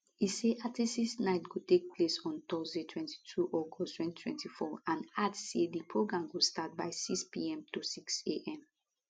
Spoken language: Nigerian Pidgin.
e say artistes night go take place on thursday 22 august 2024 and add say di program go start by 6pm to 6am